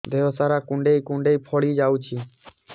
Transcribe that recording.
ଦେହ ସାରା କୁଣ୍ଡାଇ କୁଣ୍ଡାଇ ଫଳି ଯାଉଛି